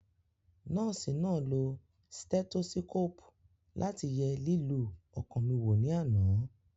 Nọ́ọ̀sì náà lo stẹ́tósíkòpù láti ye lílù ọkàn mi wò ní àná